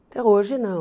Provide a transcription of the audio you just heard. Então hoje não.